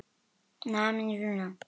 Ferdinand, kveiktu á sjónvarpinu.